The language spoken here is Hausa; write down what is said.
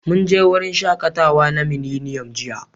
Mun je wurin shaƙatawa na Miliniyom jiya.